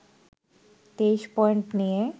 ২৩ point নিয়ে